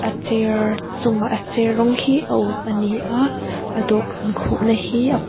a chair chungah a chair rawng hi a uk ani a a dawhkan khuhna hi a--